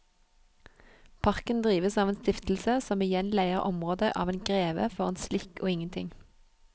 Parken drives av en stiftelse som igjen leier området av en greve for en slikk og ingenting.